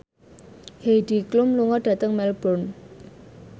Heidi Klum lunga dhateng Melbourne